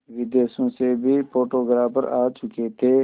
विदेशों से भी फोटोग्राफर आ चुके थे